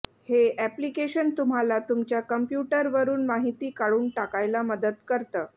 हे अॅप्लिकेशन तुम्हाला तुमच्या कम्प्युटरवरुन माहिती काढून टाकायला मदत करतं